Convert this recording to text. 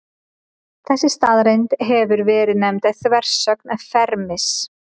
Þessi staðreynd hefur verið nefnd þversögn Fermis.